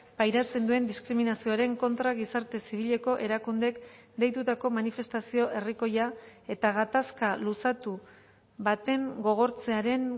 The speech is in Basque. pairatzen duen diskriminazioaren kontra gizarte zibileko erakundeek deitutako manifestazio herrikoia eta gatazka luzatu baten gogortzearen